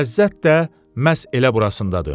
Ləzzət də məhz elə burasındadır.